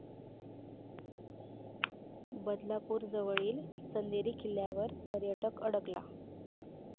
बदलापूरजवळील चंदेरी किल्ल्यावर पर्यटक अडकला